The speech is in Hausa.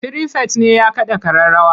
Firifet ne ya kaɗa ƙararrawa.